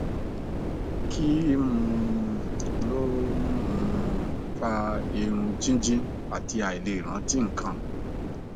kí um ló ń um fa irun jíjìn àti àìlè rántí nǹkan